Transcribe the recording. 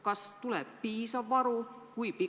Kas tuleb piisav varu?